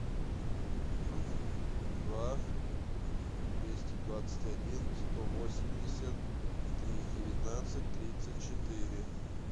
два двести двадцать один сто восемьдесят три девятнадцать тридцать четыре